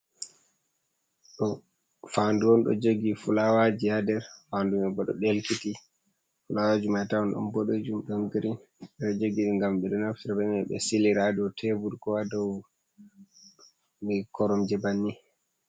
Ɗo fandu on ɗo jogi fulawaji ha nder, fandu mai bo ɗo ɗelkiti, fulawaji mai bo atawa ɗon boɗejum, ɗon grin, ɓe ɗo jogiɗi ngam ɓe silira ha dou tebur, ko ha dou koromje bannin.